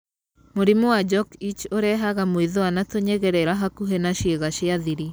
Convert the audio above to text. Mũrimũ wa jock itch ũrehaga mwĩthũa na tũnyegerera hakuhĩ na ciĩga cia thiri.